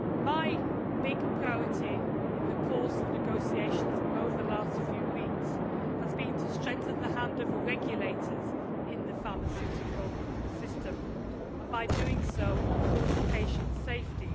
My big priority in the course of negotiations over the last few weeks has been to strengthen the hand of regulators in the pharmaceutical system and, by doing so, to improve patient safety.